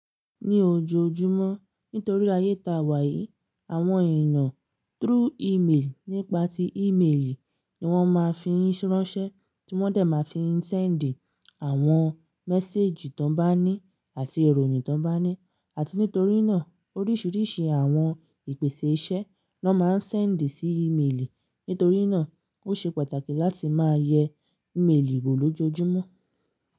Ní ojoojúmọ́ nítorí ayé ta wà yìí, àwọn èèyàn through email nípa tí email ni wọ́n máa ń fi ń ranse, tí wọ́n dẹ̀ máa ń fi ń send àwọn message tó bá ní àti ìròyìn tó bá ní. Àti nítorí náà oríṣiríṣi àwọn ìpèsè iṣẹ́ ni wọ́n máa ń send sí email. Nítorí náà ó ṣe pàtàkì láti máa yẹ email wò lójoojúmọ́.